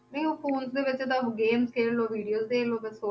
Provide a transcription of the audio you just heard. ਨਹੀਂ ਉਹ phones ਦੇ ਵਿੱਚ ਤਾਂ game ਖੇਡ ਲਓ videos ਦੇਖ ਲਓ ਬਸ